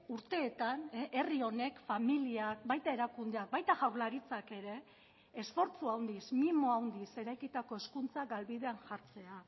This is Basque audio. urteetan herri honek familiak baita erakundeak baita jaurlaritzak ere esfortzu handiz mimo handiz eraikitako hezkuntza galbidean jartzea